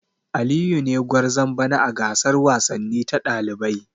Aliyu ne gwarzon bana a gasar wasanni ta dalibai.